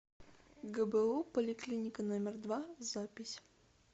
гбу поликлиника номер два запись